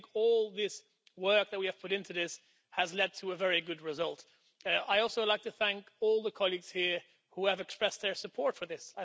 I think all the work that we've put into this has led to a very good result. I'd also like to thank all the colleagues here who have expressed their support for this.